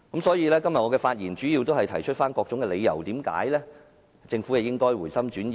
所以，我今天的發言主要是提出各項理由，解釋為何政府應該回心轉意。